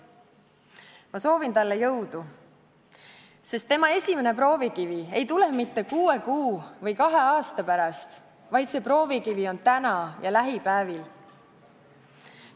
Ma soovin talle jõudu, sest tema esimene proovikivi ei tule mitte kuue kuu või kahe aasta pärast, vaid see proovikivi on täna ja lähipäevil.